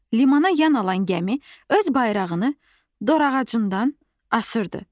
Limana yan alan gəmi öz bayrağını dorağacından asırdı.